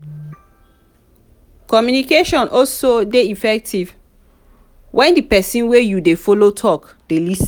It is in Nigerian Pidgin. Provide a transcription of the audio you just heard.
communication also de effective when di persin wey you de follow talk de lis ten